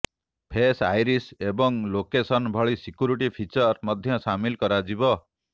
face iris ଏବଂ location ଭଳି security feature ମଧ୍ୟ ସାମିଲ କରାଯିବ